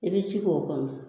I bɛ ji k' o kɔnɔ